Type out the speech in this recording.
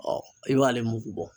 i b'ale mugu bɔ.